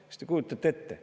" Kas te kujutate ette?